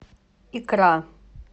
икра